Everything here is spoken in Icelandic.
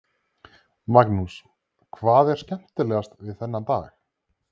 Magnús: Hvað er skemmtilegast við þennan dag?